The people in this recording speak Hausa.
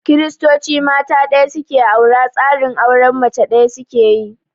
Kiristoci mata ɗaya su ke aura, tsarin auren mace ɗaya su ke yi.